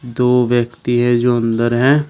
दो व्यक्ति है जो अंदर है।